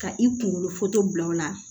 Ka i kunkolo bila o la